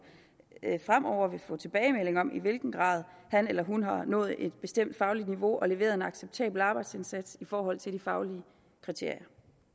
fremover vil få tilbagemelding om i hvilken grad han eller hun har nået et bestemt fagligt niveau og leveret en acceptabel arbejdsindsats i forhold til de faglige kriterier